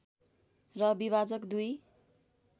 र विभाजक दुई